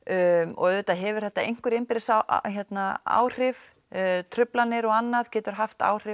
og auðvitað hefur þetta einhver innbyrðis áhrif truflanir og annað getur haft áhrif